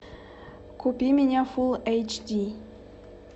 купи меня фул эйч ди